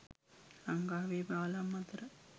ලංකාවේ පාලම් අතර